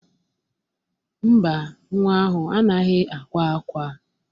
Mba, nwa ahụ anaghị akwa ákwá.